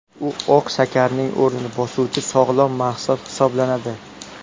U oq shakarning o‘rnini bosuvchi sog‘lom mahsulot hisoblanadi.